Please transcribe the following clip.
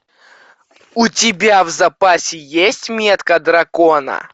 у тебя в запасе есть метка дракона